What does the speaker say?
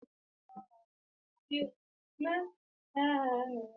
Ƙididdigar Cardinal tana nuna adadi, amma ƙidayar ƙidaya tana nuna tsari.